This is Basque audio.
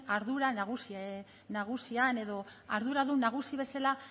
ardura nagusian edo arduradun nagusi bezala